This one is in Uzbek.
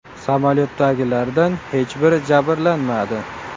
Samolyotdagilardan hech biri jabrlanmadi.